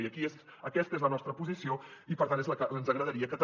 i aquesta és la nostra posició i per tant és la que ens agradaria que també